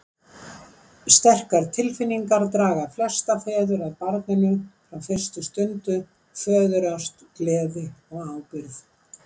Sterkar tilfinningar draga flesta feður að barninu frá fyrstu stundu, föðurást, gleði og ábyrgð.